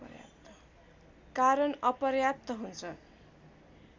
कारण अपर्याप्त हुन्छ